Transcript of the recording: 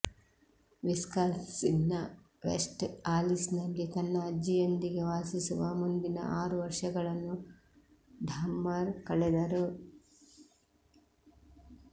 ವಿಸ್ಕಾನ್ಸಿನ್ನ West ಆಲಿಸ್ನಲ್ಲಿ ತನ್ನ ಅಜ್ಜಿಯೊಂದಿಗೆ ವಾಸಿಸುವ ಮುಂದಿನ ಆರು ವರ್ಷಗಳನ್ನು ಡಾಹ್ಮರ್ ಕಳೆದರು